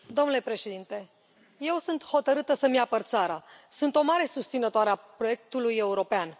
Domnule președinte, eu sunt hotărâtă să îmi apăr țara, sunt o mare susținătoare a proiectului european.